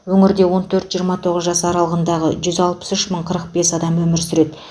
өңірде он төрт жиырма тоғыз жас аралығындағы жүз алпыс үш мың қырық бес адам өмір сүреді